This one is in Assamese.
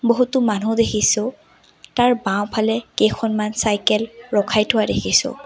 বহুতো মানুহ দেখিছোঁ তাৰ বাওঁফালে কেইখনমান চাইকেল ৰখাই থোৱা দেখিছোঁ।